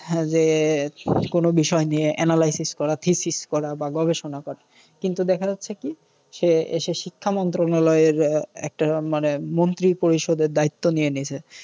যে কোনও বিষয় নিয়ে analysis করা thesis করা বা গবেষণা করা। কিন্তু দেখা যাচ্ছে কী? সে এসে শিক্ষা মন্ত্রনালয়ের একটা মানে মন্ত্রী পরিষদের দায়িত্ব নিয়ে নিছে।